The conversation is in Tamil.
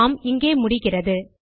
பார்ம் இங்கே முடிகிறது